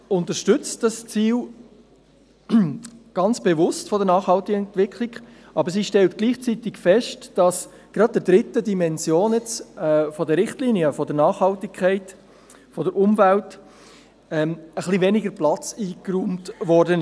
Die SAK unterstützt das Ziel der nachhaltigen Entwicklung ganz bewusst, aber sie stellt gleichzeitig fest, dass gerade der dritten Dimension der Richtlinien, der Nachhaltigkeit im Bereich Umwelt, etwas weniger Platz eingeräumt wurde.